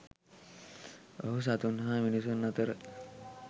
ඔහු සතුන් හා මිනිසුන් අතර